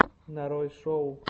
нарой шоу